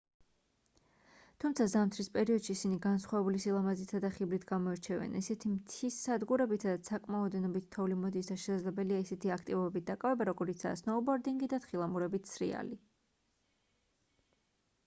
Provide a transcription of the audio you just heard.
თუმცა ზამთრის პერიოდში ისინი განსხვავებული სილამაზითა და ხიბლით გამოირჩევიან ისეთი მთის სადგურებით სადაც საკმაო ოდენობით თოვლი მოდის და შესაძლებელია ისეთი აქტივობებით დაკავება როგორიცაა სნოუბორდინგი და თხილამურებით სრიალი